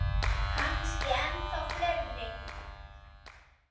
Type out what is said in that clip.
Kannski ennþá fleiri.